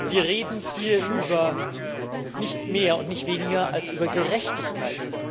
Wir reden hier über nicht mehr und nicht weniger als über Gerechtigkeit.